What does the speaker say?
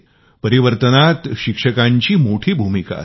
परिवर्तनामध्ये शिक्षकाची मोठी भूमिका असते